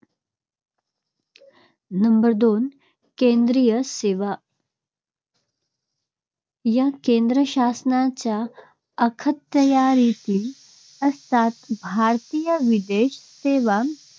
Number दोन केंद्रीय सेवा या केंद्रशासनाच्या अखत्यारीतील असतात. भारतीय विदेश सेवा